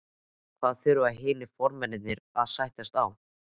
En hvað þurfa hinir formennirnir að sættast á?